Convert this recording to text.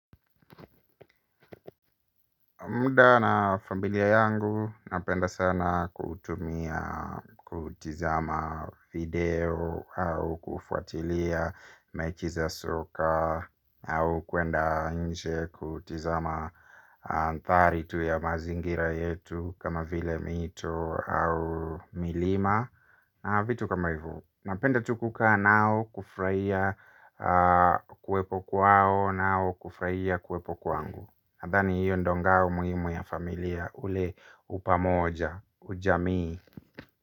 Mda na familia yangu, napenda sana kutumia kutizama video au kufuatilia mechi za soka au kwenda nje kutizama mandhari tu ya mazingira yetu kama vile mito au milima na vitu kama hivo. Napenda tu kukaa nao kufurahia kuwepo kwao nao kufurahia kuwepo kwangu. Nadhani hiyo ndio ngao muhimu ya familia ule upamoja ujamii.